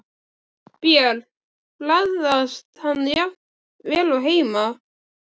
Björn: Bragðast hann jafn vel og heima?